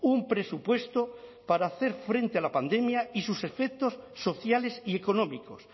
un presupuesto para hacer frente a la pandemia y sus efectos sociales y económicos